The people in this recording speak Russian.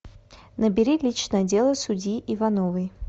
набери личное дело судьи ивановой